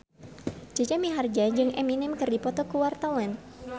Jaja Mihardja jeung Eminem keur dipoto ku wartawan